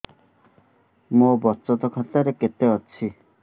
ମୋ ବଚତ ଖାତା ରେ କେତେ ଅଛି